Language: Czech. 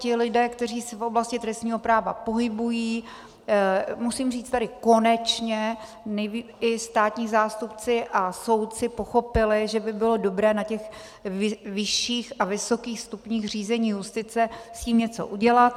Ti lidé, kteří se v oblasti trestního práva pohybují, musím říct, tedy konečně i státní zástupci a soudci pochopili, že by bylo dobré na těch vyšších a vysokých stupních řízení justice s tím něco udělat.